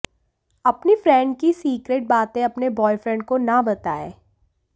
अपनी फ्रेंण्ड की सिकरेट बातें अपने बॉयफ्रेण्ड को ना बताएं